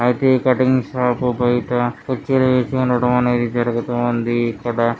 అయితే ఈ cutting shop బయట కుర్చీలు వేసి ఉండటం అనేది జరుగుతూ ఉంది ఇక్కడ.